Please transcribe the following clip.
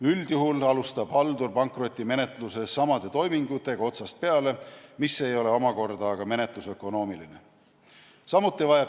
Üldjuhul alustab haldur pankrotimenetluses samade toimingutega otsast peale, mis ei ole omakorda aga menetlusökonoomiline.